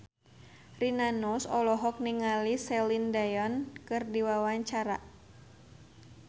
Rina Nose olohok ningali Celine Dion keur diwawancara